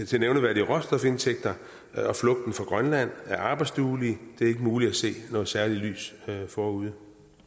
til nævneværdige råstofindtægter og grønland af arbejdsduelige det er ikke muligt at se noget særligt lys forude